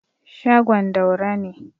shagon Daura ne